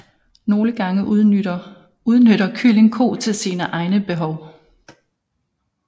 Nogle gange udnytter Kylling Ko til sine egne behov